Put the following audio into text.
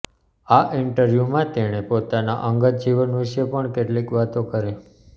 આ ઇન્ટરવ્યૂમાં તેણે પોતાના અંગત જીવન વિશે પણ કેટલીક વાતો કરી